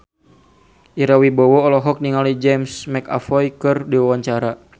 Ira Wibowo olohok ningali James McAvoy keur diwawancara